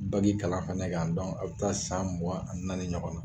Bagi kalan fɛnɛ kan dɔnku a bi taa san mugan a ni naani ɲɔgɔn na